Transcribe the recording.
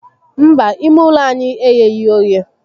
Mba, ime ulo anyi egheghi oghe